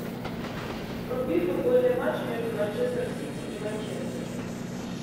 вруби футбольный матч между манчестер сити и манчестер